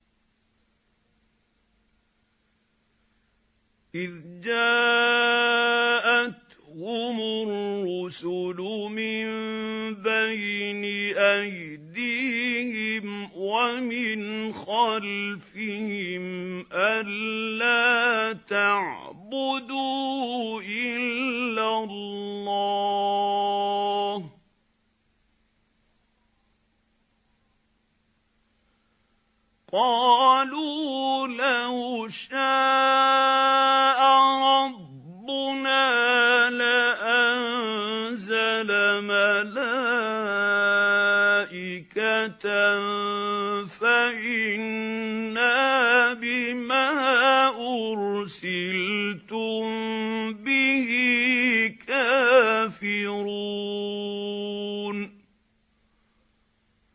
إِذْ جَاءَتْهُمُ الرُّسُلُ مِن بَيْنِ أَيْدِيهِمْ وَمِنْ خَلْفِهِمْ أَلَّا تَعْبُدُوا إِلَّا اللَّهَ ۖ قَالُوا لَوْ شَاءَ رَبُّنَا لَأَنزَلَ مَلَائِكَةً فَإِنَّا بِمَا أُرْسِلْتُم بِهِ كَافِرُونَ